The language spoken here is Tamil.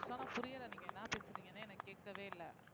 ரிஸ்வானா புரியலை நீங்க என்ன பேசறீங்கன்னே எனக்கு கேட்கவே இல்லை